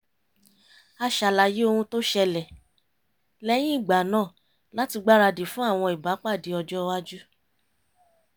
a ṣàlàyé ohun tó ṣẹlẹ̀ lẹ́yìn ìgbà náà láti gbáradì fún àwọn ìbápàdé ọjọ́ iwájú